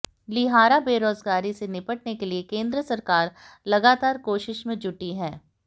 लिहारा बेरोजगारी से निपटने के लिए केंद्र सरकार लगातार कोशिश में जुटी है